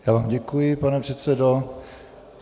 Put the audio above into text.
Já vám děkuji, pane předsedo.